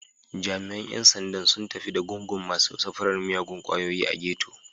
Jami’an ‘yan sandan sun tafi da gungun masu safarar miyagun kwayoyi a Ghetto.